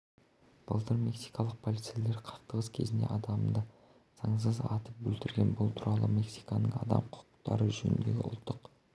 былтыр мексикалық полицейлер қақтығыс кезінде адамды заңсыз атып өлтірген бұл туралы мексиканың адам құқықтары жөніндегі ұлттық